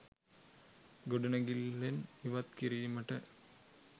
ගොඩනැඟිල්ලෙන් ඉවත් කිරීමට